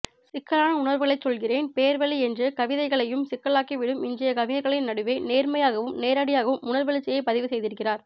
சிக்கலான உணர்வுகளைச் சொல்கிறேன் பேர்வழி என்று கவிதையையும் சிக்கலாக்கிவிடும் இன்றைய கவிஞர்களின் நடுவே நேர்மையாகவும் நேரடியாகவும் உணர்வெழுச்சியைப் பதிவுசெய்திருக்கிறார்